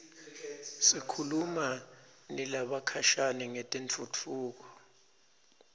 sikhuluma nalabakhashane ngetentfutfuko